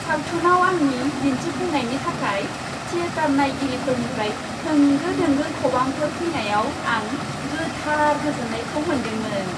सावथुनाव आंनि दिन्थिफुंनायनि थाखाय थियेटार नायगिरिफोरनिफ्राय होंगो दोंगो खबामफोर फैनायाव आं गोथार गोजोननायखौ मोन्दोंमोन।